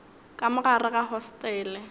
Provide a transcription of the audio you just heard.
ka mo gare ga hostele